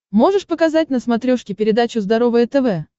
можешь показать на смотрешке передачу здоровое тв